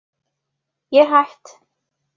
Ég er hætt.